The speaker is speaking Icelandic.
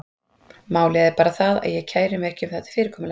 Málið er bara það, að ég kæri mig ekki um þetta fyrirkomulag.